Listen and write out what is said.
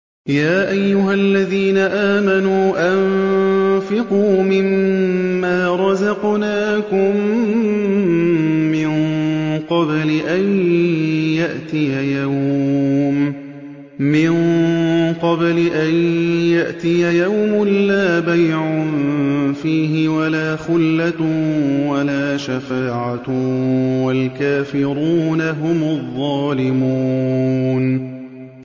يَا أَيُّهَا الَّذِينَ آمَنُوا أَنفِقُوا مِمَّا رَزَقْنَاكُم مِّن قَبْلِ أَن يَأْتِيَ يَوْمٌ لَّا بَيْعٌ فِيهِ وَلَا خُلَّةٌ وَلَا شَفَاعَةٌ ۗ وَالْكَافِرُونَ هُمُ الظَّالِمُونَ